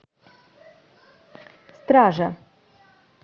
стража